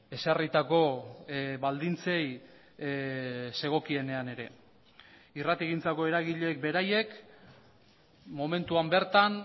ezarritako baldintzei zegokienean ere irratigintzako eragileek beraiek momentuan bertan